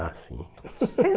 Ah, sim. Vocês